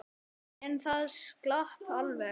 En það slapp alveg.